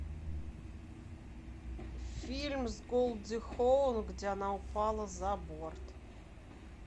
фильм с голди хоун где она упала за борт